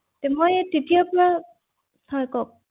হয় আচলতে আপোনাৰ